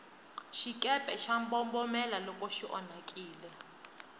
xikepe xa mbombomela loko xi onhakile